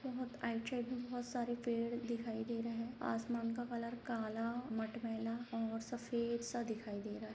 बहुत आइड-साइड में बहुत सारे पेड़ दिखाई दे रहे हैं आसमान का कलर काला मटमैला और सफेद सा दिखाई रहा है।